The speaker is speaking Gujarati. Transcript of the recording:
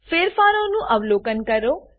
ફેરફારો નું અવલોન કરો